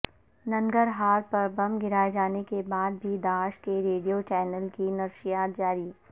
ننگرہار پر بم گرائے جانے کے بعد بھی داعش کے ریڈیو چینل کی نشریات جاری